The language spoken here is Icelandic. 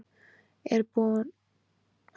Er hún að mælast til þess að þú skiljir við Guðrúnu?